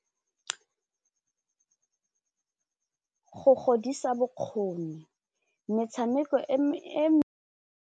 Go godisa bokgoni metshameko e .